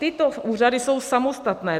Tyto úřady jsou samostatné.